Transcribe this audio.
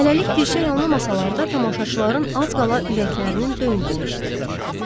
Hələlik bir şey anlamasalar da tamaşaçıların az qala ürəklərinin döyüntüsü eşidilirdi.